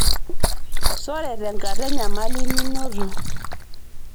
sore tenkara enyamali ninoto